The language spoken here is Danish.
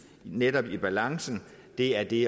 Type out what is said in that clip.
netop holdes i balance det er det